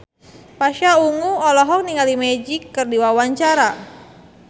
Pasha Ungu olohok ningali Magic keur diwawancara